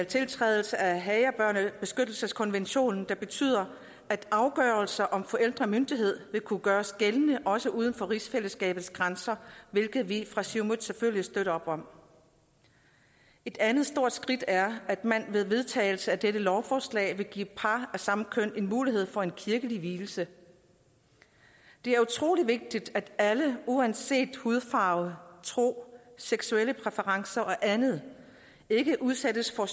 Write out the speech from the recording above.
tiltrædelse af haagerbørnebeskyttelseskonventionen der betyder at afgørelser om forældremyndighed vil kunne gøres gældende også uden for rigsfællesskabets grænser hvilket vi fra siumut selvfølgelig støtter et andet stort skridt er at man ved vedtagelse af dette lovforslag vil give par af samme køn mulighed for kirkelig vielse det er utrolig vigtigt at alle uanset hudfarve tro seksuelle præferencer og andet ikke udsættes for